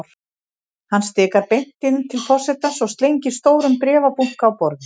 Hann stikar beint inn til forsetans og slengir stórum bréfabunka á borðið.